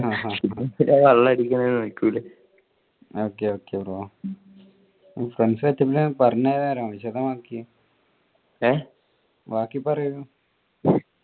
okay okay brofriends setup അത് വിശദമാക്കിയേ. ബാക്കി പറയു.